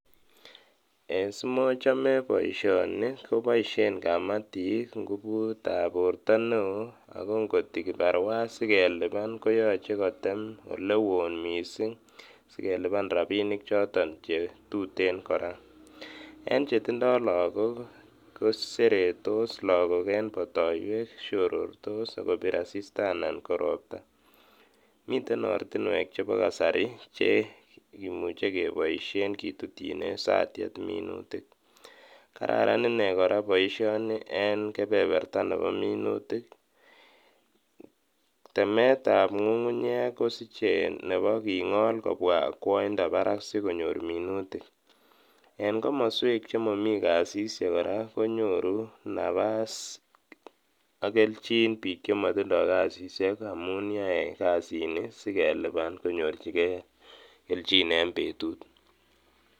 Simochome boishoni koboishen kamatik ngubutab borto neoo akoo ngot ko kibarua sikeliban koyoche kotem elewon mising sikeliban rabinik choton chetuten kora, en chetindo lokok koseretos lakok en botoiwek, siorortos sikobir asista anan ko robtaa, miten ortinwek chebo kasari chekimuche keboishen kitutyinen satiet minutik, kararan inee kora boishoni en kebeberta nebo minutik, temetab ngungunyek kosiche nebo king'ol kobwa akwoindo barak sikonyor minutik, en komoswek chemomi kasisyek kora konyoru nabaas ak kelchin biik chemotindo kasisiek amuun yoe kasini sikeliban konyorchikee kelchin en betut.